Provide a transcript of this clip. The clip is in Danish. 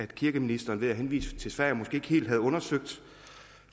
kirkeministeren henviser til sverige